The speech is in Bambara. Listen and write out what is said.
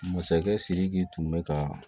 Masakɛ sidiki tun bɛ ka